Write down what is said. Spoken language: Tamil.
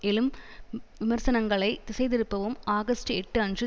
எழும் விமர்சனங்களை திசை திருப்பவும் ஆகஸ்ட் எட்டு அன்று